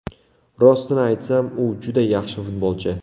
Rostini aytsam, u juda yaxshi futbolchi!